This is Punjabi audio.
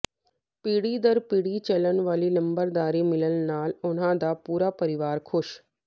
ਪੀੜ੍ਹੀ ਦਰ ਪੀੜ੍ਹੀ ਚਲਣ ਵਾਲੀ ਨੰਬਰਦਾਰੀ ਮਿਲਣ ਨਾਲ ਉਨ੍ਹਾਂ ਦਾ ਪੂਰਾ ਪਰਵਾਰ ਖੁਸ਼